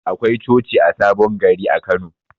Akwai coci a sabon gari a Kano.